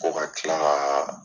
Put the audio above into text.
Ko ka tila ka